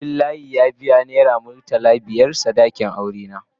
Abdullahi ya biya naira murtala biyar sadakin Saratu.